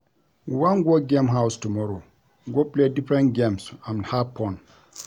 We wan go game house tomorrow go play different games and have fun